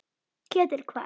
Ketill hvað?